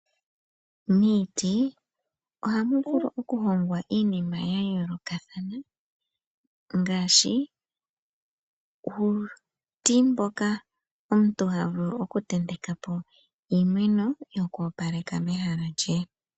Miiti ohamu vulu oku hongwa iinima ya yoolokathana. Ngaashi uuti mboka omuntu ha vulu oku tenteka po iimeno yokoopalekitha mehala lye.